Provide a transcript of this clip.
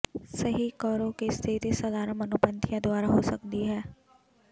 ਸਹੀ ਕਰੋ ਕਿ ਸਥਿਤੀ ਸਧਾਰਨ ਮਨੋਪੰਥੀਆਂ ਦੁਆਰਾ ਹੋ ਸਕਦੀ ਹੈ